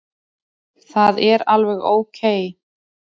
Það er alveg ókei.